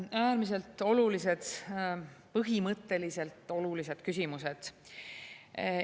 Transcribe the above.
Äärmiselt olulised, põhimõtteliselt olulised küsimused.